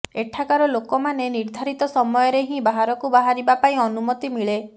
ଏଠାକାର ଲୋକମାନେ ନିର୍ଧାରିତ ସମୟରେ ହିଁ ବାହାରକୁ ବାହାରିବା ପାଇଁ ଅନୁମତି ମିଳେ